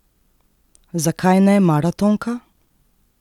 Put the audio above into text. Zakaj ne maratonka?